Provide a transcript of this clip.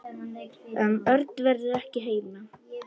Örn verður ekki heima.